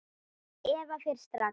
Eva fer strax.